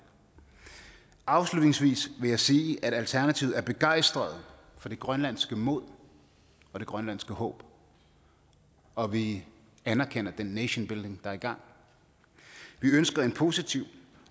afslutningsvis vil jeg sige at alternativet er begejstret for det grønlandske mod og det grønlandske håb og vi anerkender den nation building er i gang vi ønsker en positiv